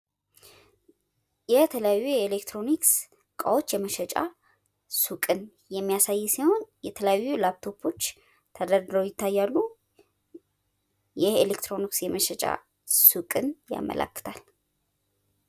የተለያዩ የኤሌክትሮኒክስ እቃዎች የመሸጫ ሱቅን የሚያሳይ ሲሆን የተለያዩ ላፕቶፖች ተደርድረው ይታያሉ። ይህ የኤሌክትሮኒክስ የመሸጫ ሱቅን ያመለክታል።